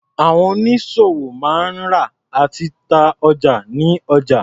Àwọn oníṣòwò máa ń rà àti ta ọjà ní ọjà.